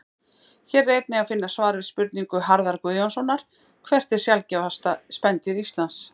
Hér er einnig að finna svar við spurningu Harðar Guðjónssonar Hvert er sjaldgæfasta spendýr Íslands?